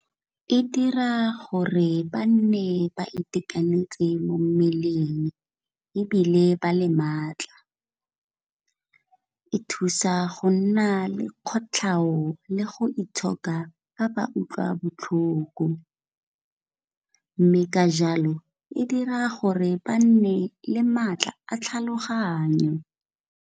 E dira gore ba nne ba itekanetse mo mmeleng ebile ba le maatla, e thusa go nna le le go itshoka ga ba utlwa botlhoko. Mme ka jalo e dira gore ba nne le maatla a tlhaloganyo.